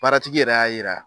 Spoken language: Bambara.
Baaratigi yɛrɛ y'a yira.